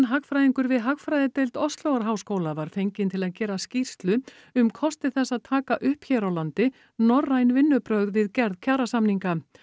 hagfræðingur við hagfræðideild var fenginn til að gera skýrslu um kosti þess að taka upp hér á landi norræn vinnubrögð við gerð kjarasamninga